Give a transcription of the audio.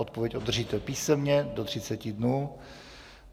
Odpověď obdržíte písemně do 30 dnů.